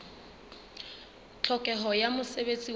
tlhokeho ya mosebetsi wa ho